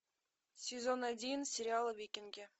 сезон один сериала викинги